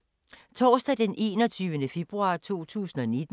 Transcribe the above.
Torsdag d. 21. februar 2019